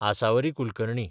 Asavari Kulkarni